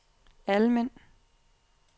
Almind